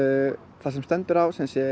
þar sem stendur á